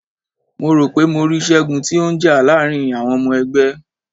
Mo ro pe mo ri Ṣẹgun ti o n já láàrin àwọn ọmọ ẹgbẹ́.